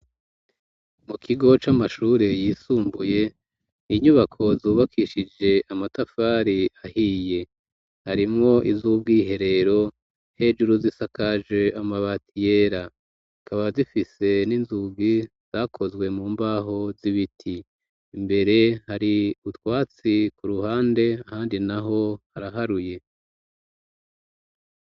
Mu kigo c'amashure yisumbuye, inyubako zubakishije amatafari ahiye. Harimo iz'ubwiherero hejuru z'isakaje amabati yera. Zikaba zifise n'inzugi zakozwe mu mbaho z'ibiti. Imbere hari utwatsi, ku ruhande handi naho haraharuye.